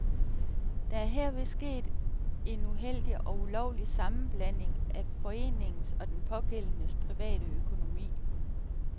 Der er herved sket en uheldig og ulovlig sammenblanding af foreningens og den pågældendes private økonomi.